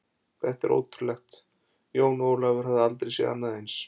Þetta var ótrúlegt, Jón Ólafur hafði aldrei séð annað eins.